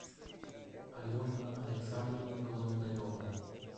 алена александровна голондарева